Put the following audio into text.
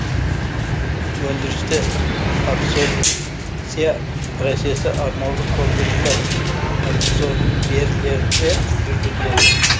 өндірісте абсорбция процесі арнаулы қондырғылар абсорберлерде жүргізіледі